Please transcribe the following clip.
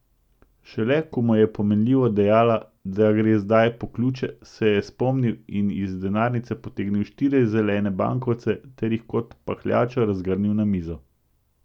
Šele ko mu je pomenljivo dejala, da gre zdaj po ključe, se je spomnil in iz denarnice potegnil štiri zelene bankovce ter jih kot pahljačo razgrnil na mizo.